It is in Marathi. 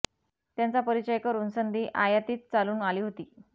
त्यांचा परिचय करून संधी आयातीच चालून आली होती